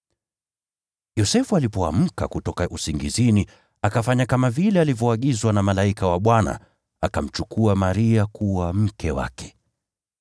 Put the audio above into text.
Yosefu alipoamka kutoka usingizini, akafanya kama vile alivyoagizwa na malaika wa Bwana, akamchukua Maria kuwa mke wake.